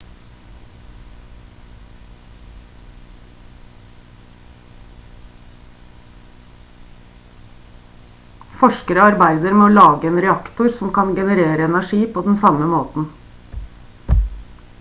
forskere arbeider med å lage en reaktor som kan generere energi på den samme måten